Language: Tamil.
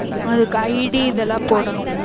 அதுக்கு ID இதெல்லா போடணும்